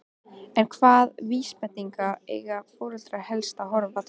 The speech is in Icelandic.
En hvaða vísbendinga eiga foreldrar helst að horfa til?